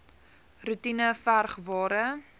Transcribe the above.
roetine verg ware